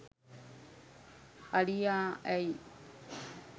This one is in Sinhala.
අලියා ඇයි